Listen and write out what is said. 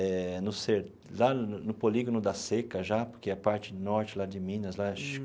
Eh no ser lá no no Polígono da Seca já, porque é a parte norte lá de Minas lá.